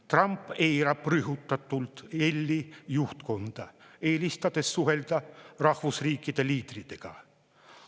Trump eirab rõhutatult EL‑i juhtkonda, eelistades suhelda rahvusriikide liidritega.